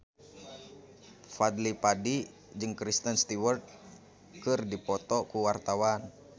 Fadly Padi jeung Kristen Stewart keur dipoto ku wartawan